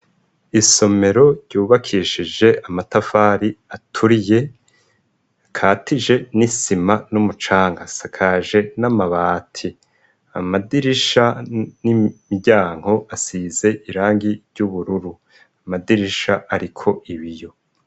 Isomero ryubakishije amatafari aturiye akatije n'isima n'umucanga asakaje n'amabati amadirisha n'imiryango asize irangi ry'ubururu, amadirisha ariko ibiyo.